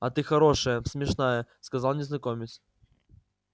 а ты хорошая смешная сказал незнакомец